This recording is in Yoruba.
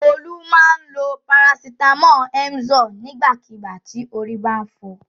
Olú máa ń lo parasítámọ̀ Emzor nígbàkigbà tí orí bá ń fọ.